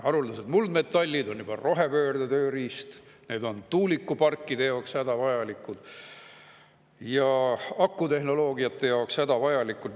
Haruldased muldmetallid on rohepöörde tööriist: need on tuulikuparkide ja akutehnoloogia jaoks hädavajalikud.